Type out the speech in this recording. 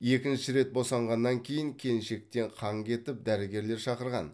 екінші рет босанғаннан кейін келіншектен қан кетіп дәрігерлер шақырған